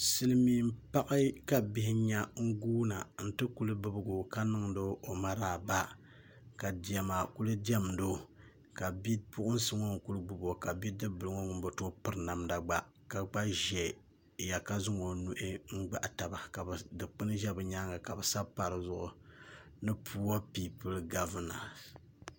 Silmiin paɣa ka bihi nyɛ ka guuna n ti ku bibgo ka niŋdi o o maraaba ka diɛma n kuli diɛmdo ka bipuɣunsi ŋɔ n kuli gbubo ka bidib bili ŋɔ ŋun bi tooi piri namda gba ka gba ʒɛya ka zaŋ o nuu n gabi taba ka dikpuni ʒɛ di nyaanga ka bi sabi pa dizuɣu ni puuo piipul gavina